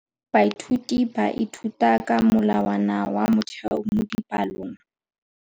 Baithuti ba ithuta ka molawana wa motheo mo dipalong.